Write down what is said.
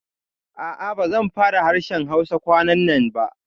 A'a, ba zan fara harshen Hausa kwanannan ba